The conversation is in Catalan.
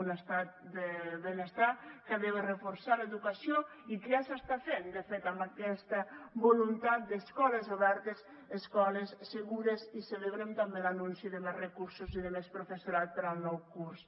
un estat del benestar que ha de reforçar l’educació i que ja s’està fent de fet amb aquesta voluntat d’escoles obertes escoles segures i celebrem també l’anunci de més recursos i de més professorat per al nou curs